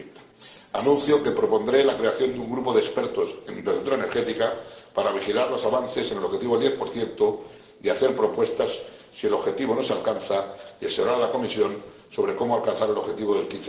2030. Anuncio que propondré la creación de un grupo de expertos en infraestructura energética para vigilar los avances en el objetivo del 10 y hacer propuestas si el objetivo no se alcanza, así como asesorar a la Comisión sobre cómo alcanzar el objetivo del